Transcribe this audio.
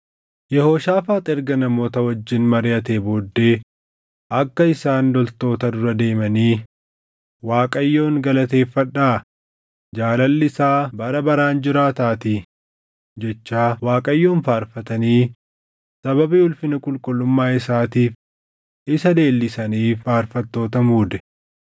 Yehooshaafaax erga namoota wajjin mariʼatee booddee akka isaan loltoota dura deemanii, “ Waaqayyoon galateeffadhaa; jaalalli isaa bara baraan jiraataatii” jechaa Waaqayyoon faarfatanii sababii ulfina qulqullummaa isaatiif isa leellisaniif faarfattoota muude.